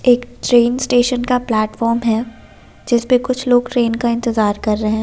एक train station का platform है जिसपे कुछ लोग ट्रेन का इंतजार कर रहे हैं।